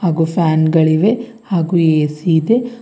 ಹಾಗೂ ಫ್ಯಾನ್ ಗಳಿವೆ ಹಾಗು ಎ_ಸಿ ಇದೆ.